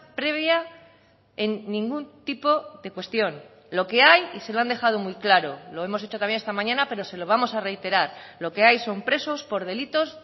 previa en ningún tipo de cuestión lo que hay y se lo han dejado muy claro lo hemos dicho también esta mañana pero se lo vamos a reiterar lo que hay son presos por delitos